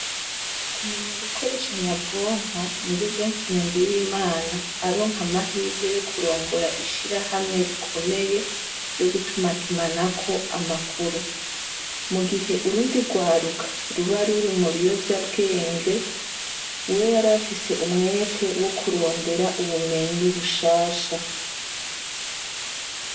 Kumenya gukoresha nyabwonko nivyo vyatumye Nduwimana aronka amahirwe yo kurongora ishirahamwe rikomeye ryo gutumatumanako amakuru. Mu gihe urundi rwaruka ruba ruri mu biyovyabwenge, we yari afise umwete wo kurondera ubumenyi bushasha.